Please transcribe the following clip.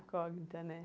Incógnita, né?